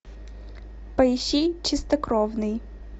поищи чистокровные